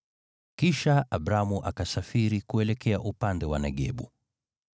Kisha Abramu akasafiri kuelekea upande wa Negebu.